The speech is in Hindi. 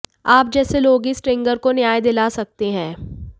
आप जैसे लोग ही स्ट्रिंगर को न्याय दिला सकते हैं